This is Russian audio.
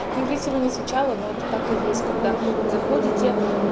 некрасиво звучало но это так и есть когда вы заходите